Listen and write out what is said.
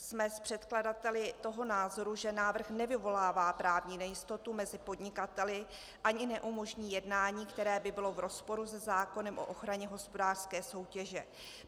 Jsme s předkladateli toho názoru, že návrh nevyvolává právní nejistotu mezi podnikateli ani neumožní jednání, které by bylo v rozporu se zákonem o ochraně hospodářské soutěže.